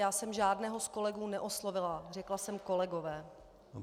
Já jsem žádného z kolegů neoslovila, řekla jsem kolegové.